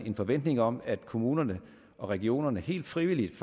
en forventning om at kommunerne og regionerne helt frivilligt